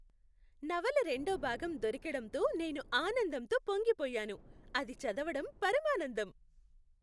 నవల రెండో భాగం దొరికడంతో నేను ఆనందంతో పొంగిపోయాను. అది చదవడం పరమానందం.